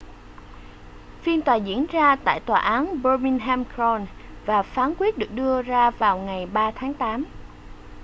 phiên tòa diễn ra tại tòa án birmingham crown và phán quyết được đưa ra vào ngày 3 tháng tám